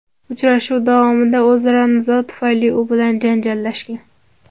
Uchrashuv davomida o‘zaro nizo tufayli u bilan janjallashgan.